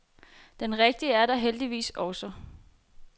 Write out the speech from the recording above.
Den rigtige er der heldigvis også.